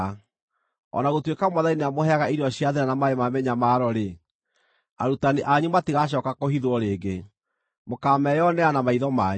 O na gũtuĩka Mwathani nĩamũheaga irio cia thĩĩna na maaĩ ma mĩnyamaro-rĩ, arutani anyu matigacooka kũhithwo rĩngĩ; mũkaameyonera na maitho manyu.